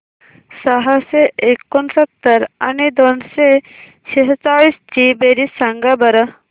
सहाशे एकोणसत्तर आणि दोनशे सेहचाळीस ची बेरीज सांगा बरं